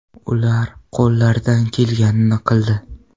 Ular qo‘llaridan kelganini qildi”.